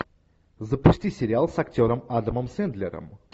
запусти сериал с актером адамом сэндлером